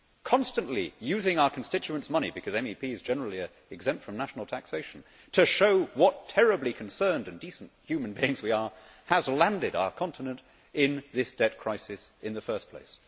Constantly using our constituents' money because MEPs generally are exempt from national taxation to show what terribly concerned and decent human beings we are has landed our Continent in this debt crisis in the first place.